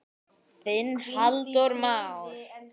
Þinn Halldór Már.